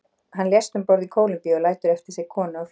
Hann lést um borð í Kólumbíu og lætur eftir sig konu og fjögur börn.